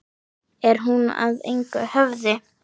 Er hún að engu höfð?